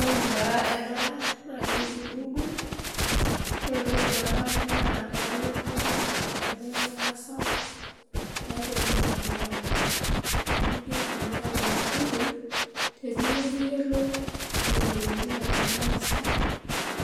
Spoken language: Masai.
Ore taa ena naa keji google, naa ore entoki nadamu naa keyauwa google enkibelekenyata sapuk tiatua olmutandao, amu keitumiai ena google teniyou niyolou intokitin naagira aasa